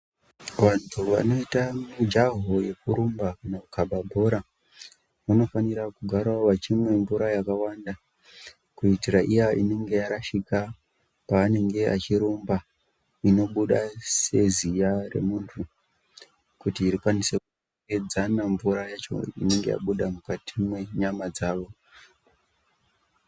Vantu vanoita mujahongekurumba kana kukaba bhora vanofanira kugara vachimwe mvura yakawanda kuitira iya inenge yarashika paanenge achirumba inobuda seziya remuntu kuti rikwanise kuedzana mvura yacho inenge yabuda mukati mwenyama dzawo.